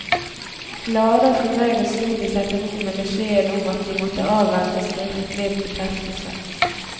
Glade og fornøyde slo de seg til ro med beskjeden om at de måtte avvente skriftlig bekreftelse.